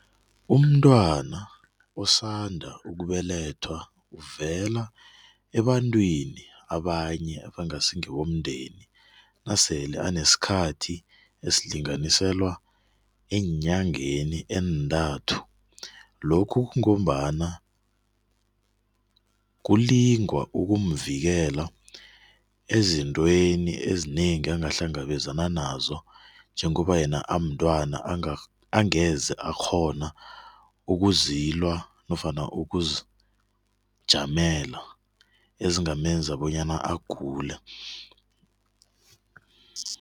Umntwana osanda ukubelethwa uvela ebantwini abanye abangasi ngebomndeni nasele anesikhathi esilinganiselwa eenyangeni eentathu. Lokhu kungombana kulingwa ukumvikela ezitweni ezinengi angahlangabezana nazo njengoba yena umntwana angeze akghona ukuzilwa nofana ukuzijamela ezingamenza bonyana agule.